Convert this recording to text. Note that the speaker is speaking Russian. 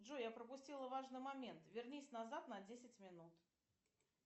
джой я пропустила важный момент вернись назад на десять минут